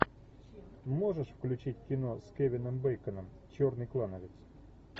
можешь включить кино с кевином бейконом черный клановец